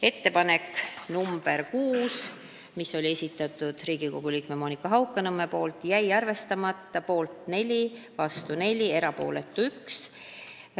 Ettepanek nr 6 oli samuti Riigikogu liikmelt Monika Haukanõmmelt, jäi arvestamata: poolt 4, vastu 4, erapooletuid 1.